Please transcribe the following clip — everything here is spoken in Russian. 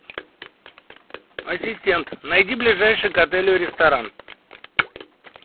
ассистент найди ближайший к отелю ресторан